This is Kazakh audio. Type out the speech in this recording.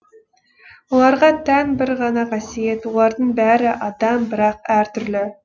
оларға тән бір ғана қасиет олардың бәрі адам бірақ әртүрлі